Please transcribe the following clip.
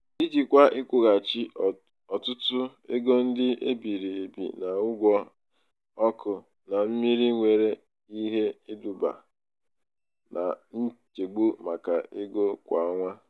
ijikwa ịkwụghachi ọtụtụ ego ndị e biri ebi na ụgwọ ọkụ na mmiri nwere ike iduba na nchegbu maka ego kwa ọnwa.